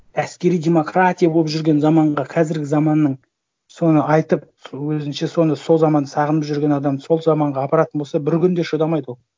әскери демократия болып жүрген заманға қазіргі заманның соны айтып сол өзінше соны сол заманды сағынып жүрген адамды сол заманға апаратын болса бір күн де шыдамайды ол